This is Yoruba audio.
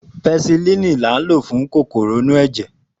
Pẹsilínìì ní a ń lò fún kòkòrò inú ẹ̀jẹ̀